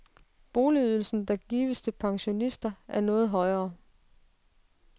Boligydelsen, der gives til pensionister, er noget højere.